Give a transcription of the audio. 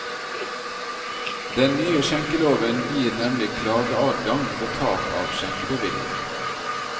Den nye skjenkeloven gir nemlig klageadgang ved tap av skjenkebevilling.